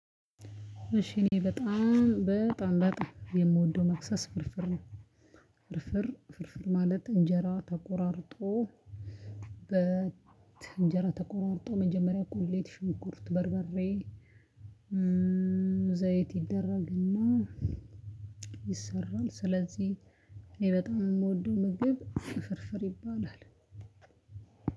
እሺ እኔ በጣም በጣም በጣም የምወደው መክሰስ ፍርፍር ነው። ፍርፍር ፍርፍር ማለት እንጀራ ተቆራርጦ በ እንጀራ ተቆራርጦ መጀመሪያ ቁሌት ሽንኩርት በርበሬ። ዘይት ይደረግና ይሰራል። ስለዚህ እኔ በጣም የምወደው ምግብ ፍርፍር ይባላል።